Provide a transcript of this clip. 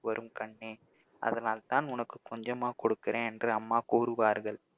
வரும் கண்ணே அதனால்தான் உனக்கு கொஞ்சமா கொடுக்கிறேன் என்று அம்மா கூறுவார்கள்